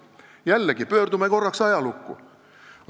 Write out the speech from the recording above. Pöörame jällegi korraks pilgu ajalukku.